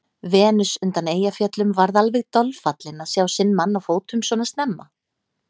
Venus undan Eyjafjöllum varð alveg dolfallin að sjá sinn mann á fótum svona snemma.